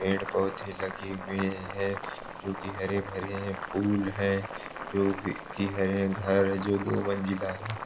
पेड़ पौधे लगे हुए हैं जो की हरे भरे हैं फूल हैं जो की हरे घर जो दो मंजिला हैं।